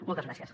moltes gràcies